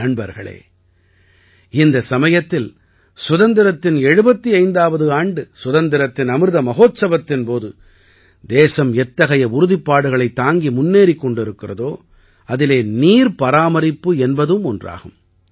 நண்பர்களே இந்த சமயத்தில் சுதந்திரத்தின் 75ஆவது ஆண்டு சுதந்திரத்தின் அமிர்த மஹோத்சவத்தின் போது தேசம் எத்தகைய உறுதிப்பாடுகளைத் தாங்கி முன்னேறிக் கொண்டிருக்கிறதோ அதிலே நீர் பராமரிப்பு என்பதும் ஒன்றாகும்